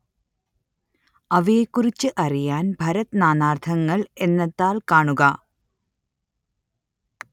അവയെക്കുറിച്ചറിയാന്‍ ഭരത് നാനാര്‍ത്ഥങ്ങള്‍ എന്ന താള്‍ കാണുക